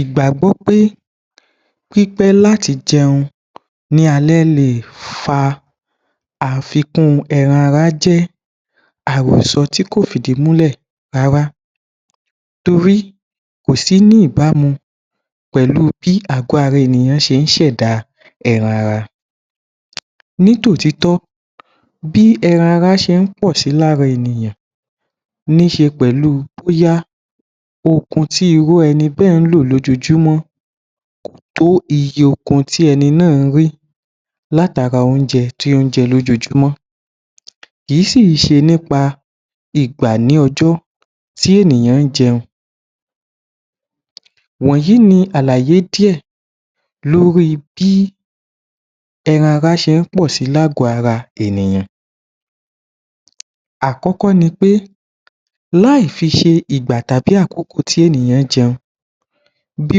Ìgbàgbọ́ pé pípẹ́ láti jẹun ní alẹ́ lè fa àfikun ẹran ara jẹ́ àròsọ tí kò fìdí múlẹ̀ rárá torí kò sí ní ìbámu pẹ̀lú bí àgọ́ ara ènìyàn ṣe ń ṣẹ̀dá ẹràn ara. Nítòtítọ́, bí ẹran ara ń pọ̀ si lára ènìyàn nííṣe pẹlú bóyá okun tí irú ẹni bẹ́ẹ̀ ń lò lójoojúmọ́ kò tó iye okun tí ẹni náà ń rí láti ara oúnjẹ tí ó ń jẹ lójoojúmọ́, kìí sì ṣe nípa ìgbà ní ọjọ́ tí ènìyàn ń jẹun wọ̀nyí ni àlàyé díẹ̀ lórí bí ẹran ara se ń pọ̀ si ní àgọ́ ara ènìyàn. Àkọ́kọ́ ni pé láì fi ṣe ìgbà tàbí àkókò tí ènìyàn jẹun bí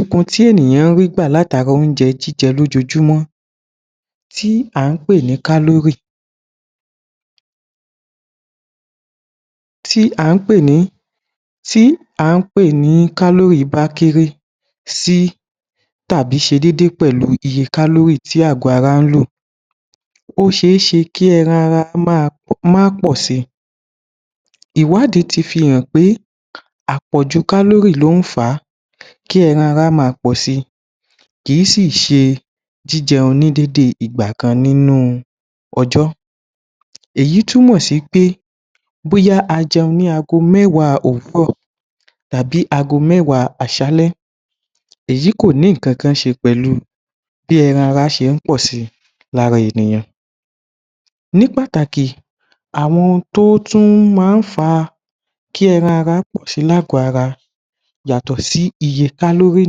okun tí ènìyàn rí gbà látara oúnjẹ jíjẹ lojoojúmọ́ tí à ń pè ní kálórì yìí bá kéré sí tàbí se dédé pẹ̀lú iye kálórì tí àgọ́ ara ń lò ó seéṣe kí ẹran ara má pọ̀ si, ìwádìí ti fi hàn pé àpọ̀jù kálórì ló ń fà á kí ẹran ara máa pọ̀ si kìí sì ṣe jíjẹun ní dédé ìgbà kan nínú ọjọ́, èyí túmọ̀ si pé bóyá a jẹun ní aago mẹ́wàá òwúrọ̀ tàbí aago mẹ́wàá àṣalẹ́, èyí kò ní nǹkankan ṣe pẹ̀lú bí ẹran ara ṣe ń pọ̀ si lára ènìyàn. Ní pàtàkì àwọn tó tún máa ń fa kí ẹran ara pọ̀ si ní àgọ́ ara ènìyàn yàtọ̀ sí iye kálórì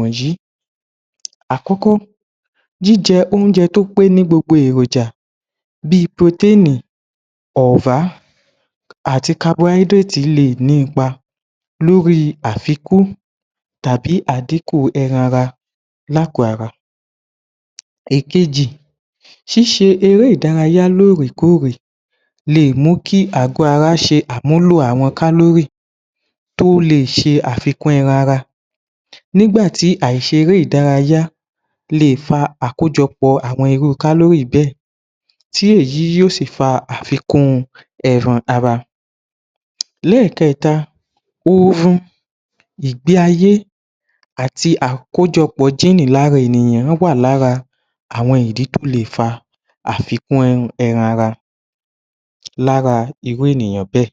wọ̀nyí àkọ́kọ́ jíjẹ oúnjẹ tí ó pé ní gbogbo èròjà bí i purotéènì Protein, ọ̀rá àti kabọáídíreètì Carbohydrate le è ní ipa lórí àfikún tàbí àdíkù ẹran ara lágọ̀ọ́ ara. Èkejì, ṣíṣe eré ìdárayá lóòrèkóòrè le è mu kí àgọ́ ara ṣe àmúlò àwọn kálórì tó le è ṣe àfikún ẹran ara nígbà tí àìṣeré ìdárayá lè fa àkójọpọ̀ àwọn irú kálórì bẹ́ẹ̀ tí èyí yóò sì fa àfikún ẹran ara. Lẹ́ẹ̀kẹta ooru ìgbe-ayé àti àkójọpọ̀ jíìnì lára ènìyàn wọ́n wà lára àwọn ìdí tí ó lè fa àfikún ẹran ara lára irú ènìyàn bẹ́ẹ̀.